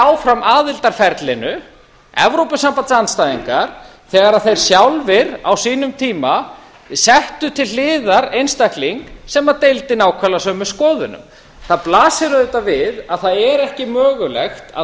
áfram aðildarferlinu evrópusambandsandstæðingar þegar þeir sjálfir á sínum tíma settu til hliðar einstakling sem deildi nákvæmlega sömu skoðunum það blasir auðvitað við að það er ekki mögulegt að